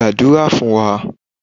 gbadura fun wa!